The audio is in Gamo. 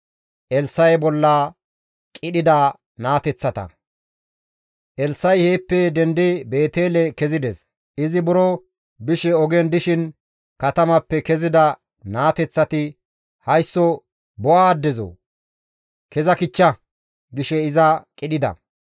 Elssa7i heeppe dendi Beetele kezides; izi buro bishe ogen dishin katamappe kezida naateththati, «Haysso bo7a addezoo! Keza kichcha!» gishe iza qidhida.